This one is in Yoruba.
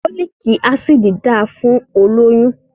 Fólíkì Ásíìdì dáa fún olóyún.